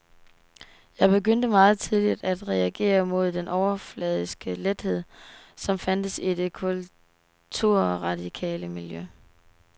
Jeg begyndte meget tidligt at reagere mod den overfladiske lethed, som fandtes i det kulturradikale miljø.